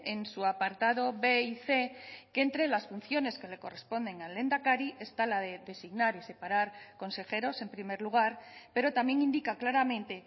en su apartado b y c que entre las funciones que le corresponden al lehendakari está la de designar y separar consejeros en primer lugar pero también indica claramente